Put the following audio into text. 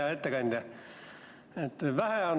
Hea ettekandja!